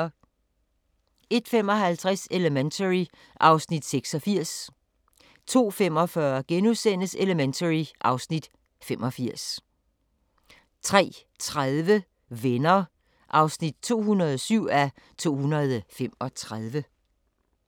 01:55: Elementary (Afs. 86) 02:45: Elementary (Afs. 85)* 03:30: Venner (207:235)